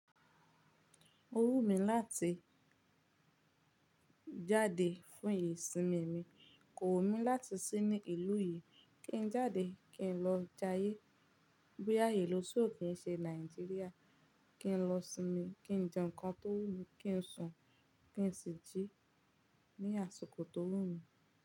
O wù mí láti jáde fún ìsinmi mi, kò wù mí láti sí ní ìlú yìí. Bóyá kí jàde kí lo jàáyè bóyá ìlú so kì se Nigeria kí n lọ sinmi, kí n jẹ́ nǹkan tó wù mí, kí n sùn, kí n sì jí ní àsìkò tó wù mí.